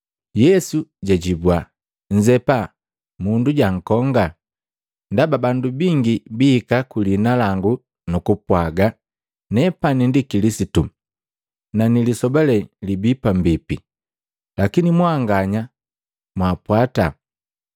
Yesu jajibua, “Nnzepa, mundu jankonga. Ndaba bandu bingi bihika kuliina langu nukupwaga, ‘Nepani ndi Kilisitu,’ na ‘Nilisoba lee libi pambipi.’ Lakini mwanganya mwaapwata!